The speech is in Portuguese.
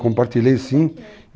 Compartilhei, sim.